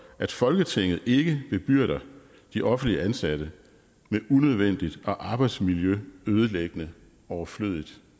at folketinget ikke bebyrder de offentligt ansatte med unødvendigt og arbejdsmiljøødelæggende overflødigt